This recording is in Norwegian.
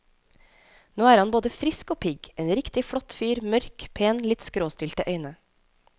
Nå er han både frisk og pigg, en riktig flott fyr, mørk, pen, litt skråstilte øyne.